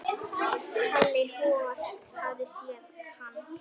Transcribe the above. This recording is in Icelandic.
Halli hor hafði séð hann.